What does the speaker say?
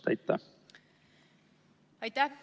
Aitäh!